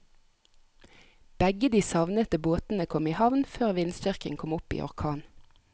Begge de savnede båtene kom i havn før vindstyrken kom opp i orkan.